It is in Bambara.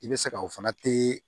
I bɛ se ka o fana te